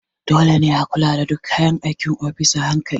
Dole ne a kula da duk kayan aikin ofis a hankali.